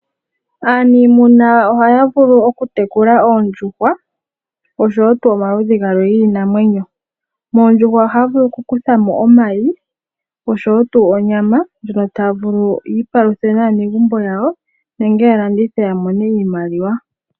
Aaniimuna ohaya vulu okutekula oondjuhwa dhopomaludhi gamwe giinamwenyo moondjuhwa ohaa vulu okukutha no omayi oshowo tuu onyama ndjo taa vulu yiipaluthe naanegumbo yawo nenge ya landithe ya mone iimaliwa.